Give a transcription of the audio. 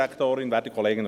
Bin fertig.